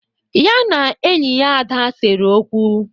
Ya na enyi ya Ada sere okwu.